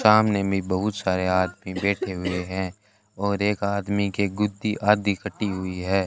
सामने में बहुत सारे आदमी बैठे हुए हैं और एक आदमी के गुद्धि आधी कटी हुई है।